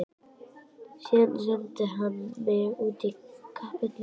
Síðan sendi hann mig út í kapellu að biðja.